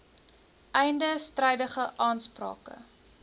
einde strydige aansprake